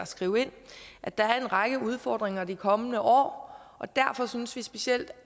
skrive ind at der er en række udfordringer i de kommende år derfor synes vi også specielt